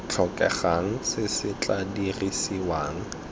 tlhokegang se se tla dirisiwang